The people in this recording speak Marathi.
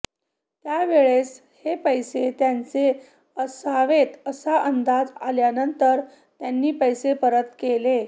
त्यावेळेस हे पैसे त्यांचे असवेत असा अंदाज आल्यानंतर त्यांनी पैसे परत केले